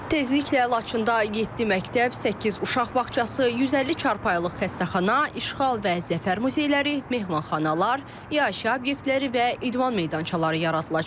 Tezliklə Laçında yeddi məktəb, səkkiz uşaq bağçası, 150 çarpayılıq xəstəxana, İşğal və Zəfər muzeyləri, mehmanxanalar, yaşayış obyektləri və idman meydançaları yaradılacaq.